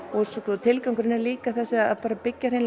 tilgangurinn er líka að byggja hreinlega